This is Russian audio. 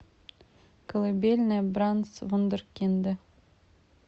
колыбельная брамс вундеркинды